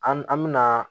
An an mina